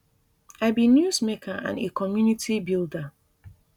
i be newsmaker and a community builder